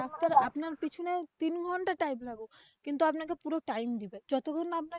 আপনার পেছনে তিন ঘণ্টা time লাগুক কিন্তু আপনাকে time দিবে যতক্ষন না আপনাকে